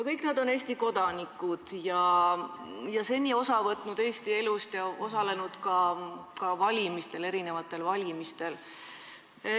Kõik nad on Eesti kodanikud, kes on seni osa võtnud Eesti elust ja osalenud ka valimistel.